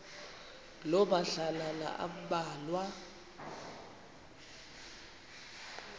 loo madlalana ambalwa